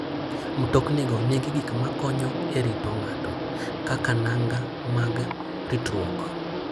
Mtoknigo nigi gik ma konyo e rito ng'ato, kaka nanga mag ritruok.